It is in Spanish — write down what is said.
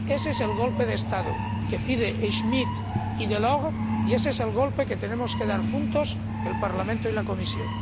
Ese es el golpe de Estado que piden Schmidt y Delors, y ese es el golpe que tenemos que dar juntos el Parlamento y la Comisión.